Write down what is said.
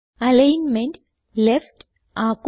alignment left ആക്കുക